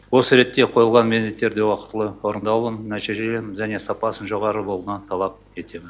осы ретте қойылған міндеттерді уақытылы орындалуын нәтижелерін және сапасын жоғары болуына талап етемін